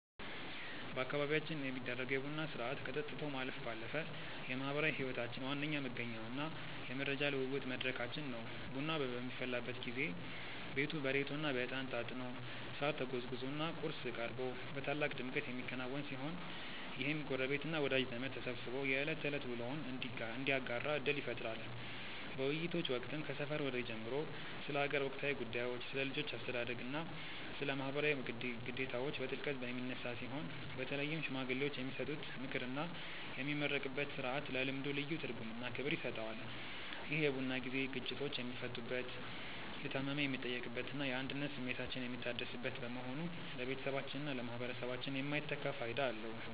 በአካባቢያችን የሚደረገው የቡና ሥርዓት ከጠጥቶ ማለፍ ባለፈ የማኅበራዊ ሕይወታችን ዋነኛ መገኛውና የመረጃ ልውውጥ መድረካችን ነው። ቡናው በሚፈላበት ጊዜ ቤቱ በሬቶና በዕጣን ታጥኖ፣ ሳር ተጎዝጉዞና ቁርስ ቀርቦ በታላቅ ድምቀት የሚከናወን ሲሆን፣ ይህም ጎረቤትና ወዳጅ ዘመድ ተሰባስቦ የዕለት ተዕለት ውሎውን እንዲያጋራ ዕድል ይፈጥራል። በውይይቶች ወቅትም ከሰፈር ወሬ ጀምሮ ስለ አገር ወቅታዊ ጉዳዮች፣ ስለ ልጆች አስተዳደግና ስለ ማኅበራዊ ግዴታዎች በጥልቀት የሚነሳ ሲሆን፣ በተለይም ሽማግሌዎች የሚሰጡት ምክርና የሚመረቅበት ሥርዓት ለልምዱ ልዩ ትርጉምና ክብር ይሰጠዋል። ይህ የቡና ጊዜ ግጭቶች የሚፈቱበት፣ የታመመ የሚጠየቅበትና የአንድነት ስሜታችን የሚታደስበት በመሆኑ ለቤተሰባችንና ለማኅበረሰባችን የማይተካ ፋይዳ አለው።